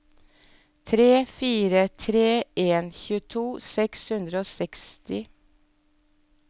tre fire tre en tjueto seks hundre og seksti